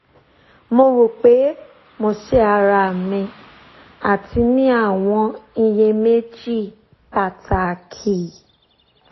mo ro pe mo se ara mi ati ni awọn iyemeji pataki